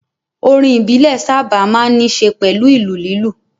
Orin ìbílẹ̀ sáábà máa ń ní ṣe pẹ̀lú ìlù lílù